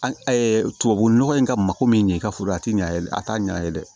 An tubabu nɔgɔ in ka mako min ɲɛ i ka foro a tɛ ɲɛ a t'a ɲɛ ye dɛ